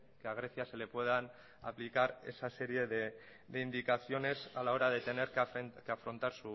que a grecia se le puedan aplicar esa serie de indicaciones a la hora de tener que afrontar